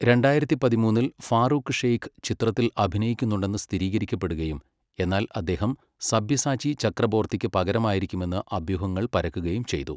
രണ്ടായിരത്തി പതിമൂന്നില് ഫാറൂഖ് ഷെയ്ഖ് ചിത്രത്തിൽ അഭിനയിക്കുന്നുണ്ടെന്ന് സ്ഥിരീകരിക്കപ്പെടുകയും എന്നാൽ അദ്ദേഹം സബ്യസാചി ചക്രബോർത്തിക്ക് പകരമായിരിക്കുമെന്ന് അഭ്യൂഹങ്ങൾ പരക്കുകയും ചെയ്തു.